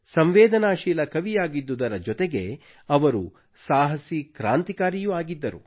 ಸಂವೇದನಾಶೀಲ ಕವಿಯಾಗಿದ್ದುದರ ಜೊತೆಗೆ ಅವರು ಸಾಹಸಿ ಕ್ರಾಂತಿಕಾರಿಯೂ ಆಗಿದ್ದರು